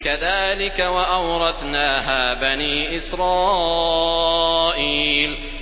كَذَٰلِكَ وَأَوْرَثْنَاهَا بَنِي إِسْرَائِيلَ